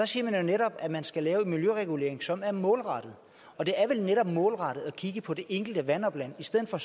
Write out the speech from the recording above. siger jo netop at man skal lave en miljøregulering som er målrettet og det er vel netop målrettet at kigge på det enkelte vandopland i stedet for